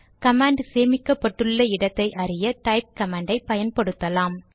command சேமிக்கப்பட்டுள்ள இடத்தை அறிய டைப் கமாண்ட் ஐ பயன்படுத்தலாம்